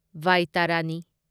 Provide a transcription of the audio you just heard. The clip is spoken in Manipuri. ꯕꯥꯢꯇꯥꯔꯥꯅꯤ